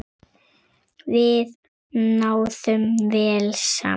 Við náðum vel saman.